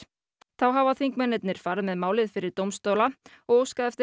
þá hafa þingmennirnir farið með málið fyrir dómstóla og óskað eftir